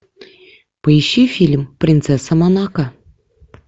поищи фильм принцесса монако